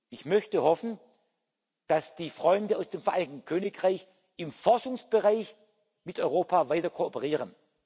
Ich möchte hoffen, dass die Freunde aus dem Vereinigten Königreich im Forschungsbereich mit Europa weiter kooperieren.